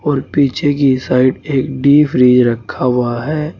और पीछे की साइड एक डी फ्रिज रखा हुआ है।